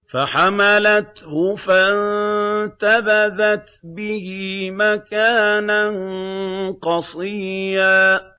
۞ فَحَمَلَتْهُ فَانتَبَذَتْ بِهِ مَكَانًا قَصِيًّا